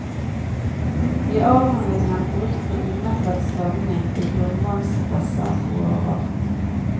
I avhandlingen brukt på umettet strømning i grunnvannsreservoarer.